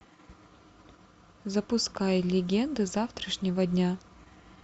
запускай легенды завтрашнего дня